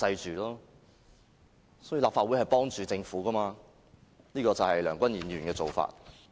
其實立法會是袒護政府的，這就是梁君彥議員的做法。